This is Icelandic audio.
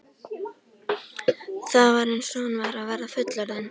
Það var eins og hann væri að verða fullorðinn.